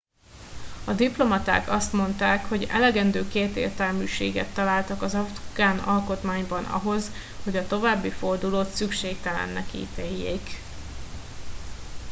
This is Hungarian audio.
a diplomaták azt mondták hogy elegendő kétértelműséget találtak az afgán alkotmányban ahhoz hogy a további fordulót szükségtelennek ítéljék